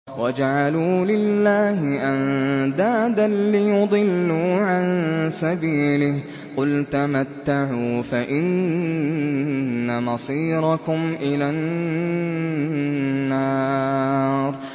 وَجَعَلُوا لِلَّهِ أَندَادًا لِّيُضِلُّوا عَن سَبِيلِهِ ۗ قُلْ تَمَتَّعُوا فَإِنَّ مَصِيرَكُمْ إِلَى النَّارِ